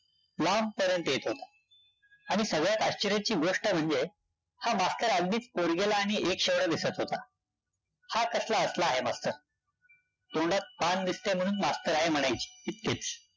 लांबपर्यंत येत होता. आणि सगळ्यात आश्चर्याची गोष्ट म्हणजे हा मास्तर अगदीच पोरगेला आणि दिसत होता. हा कसला असणारे मास्तर? तोंडात पान दिसतंय म्हणून मास्तर आहे म्हणायची, इतकेच.